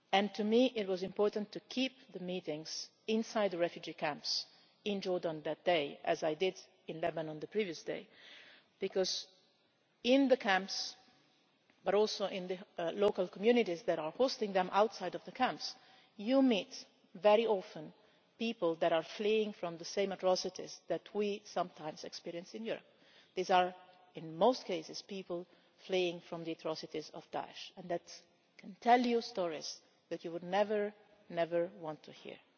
For me it was important to hold the meetings inside the refugee camps in Jordan that day, as I did in Lebanon on the previous day, because in the camps, but also in the local communities that are hosting them outside of the camps, you very often meet people who are fleeing from the same atrocities that we sometimes experience in Europe. These are in most cases people fleeing from the atrocities of Daesh and who can tell you stories that you would never ever want to hear.